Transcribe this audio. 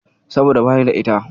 Saboda bani da ita.